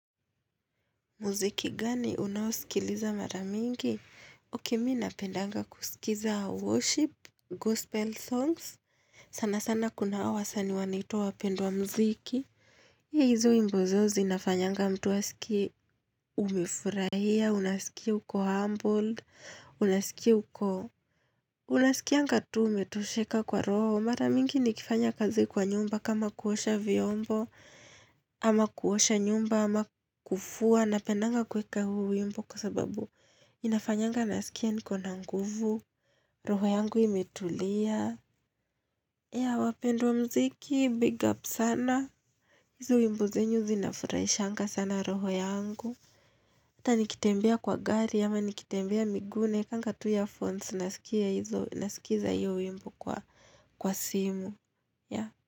Mziki gani unaosikiliza mara mingi? Ok mimi napendanga kusikiza worship, gospel songs. Sana sana kuna hawa wasani wanaitwa wapendwa mziki. Hizo wimbo zao zinafanyanga mtu asikie umefurahia, unasikia uko humbled, unasikia uko Unasikianga tu umetosheka kwa roho. Mara mingi nikifanya kazi kwa nyumba kama kuosha vyombo, ama kuosha nyumba, ama kufua, napendanga kuweka huu wimbo kwa sababu inafanyanga nasikia niko na nguvu, roho yangu imetulia, ya wapendwa mziki big up sana, hizo wimbo zenu zinafurahishanga sana roho yangu. Hata nikitembea kwa gari, ama nikitembea miguu naekanga tu earphones nasikia hizo nasikiza hiyo wimbo kwa simu, yaa.